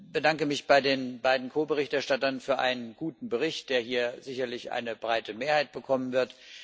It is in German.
bedanke mich bei den beiden Ko Berichterstattern für einen guten Bericht, der hier sicherlich eine breite Mehrheit bekommen wird.